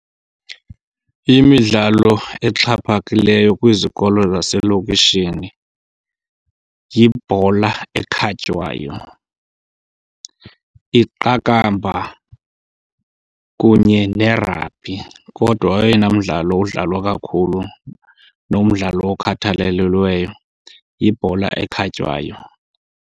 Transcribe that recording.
Imidlalo exhaphakileyo kwizikolo zaselokishini yibhola ekhatywayo, iqabakamba, kunye ne-rugby. Kodwa oyena mdlalo udlalwa kakhulu nomdlalo okhathalelelweyo yibhola ekhatywayo.